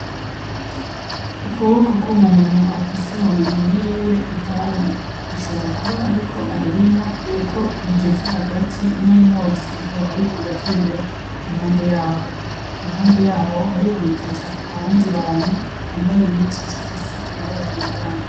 Ukuboko kw'umuntu afise mu minwe yiwe itabi. Ashobora kuba ariko ararinywa kuko rigeze hagati, n'umwotsi ukaba uriko uratembera impande y'aho. Iruhande y'aho haribonekeza abandi bantu bambaye impuzu zifise amabara atandukanye.